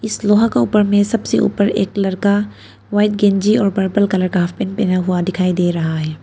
इस लोहा का ऊपर में सबसे ऊपर एक लड़का व्हाइट गंजी और पर्पल कलर का हाफ पेंट बना हुआ दिखाई दे रहा है।